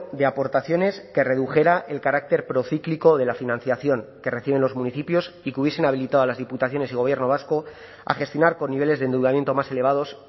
de aportaciones que redujera el carácter procíclico de la financiación que reciben los municipios y que hubiesen habilitado a las diputaciones y gobierno vasco a gestionar con niveles de endeudamiento más elevados